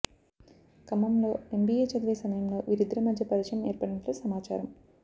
ఖమ్మంలో ఎంబీఏ చదివే సమయంలో వీరిద్దరి మధ్య పరిచయం ఏర్పడినట్లు సమాచారం